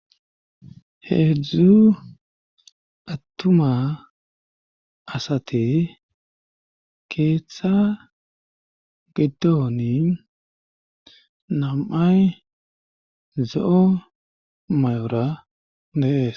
heedzdzu attuma asate keeththa giddoni nam7ay zo7o may7ora neees